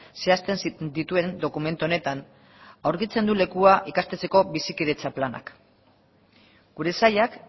zehazten dituen dokumentu honetan aurkitzen du lekua ikastetxeko bizikidetza planak gure sailak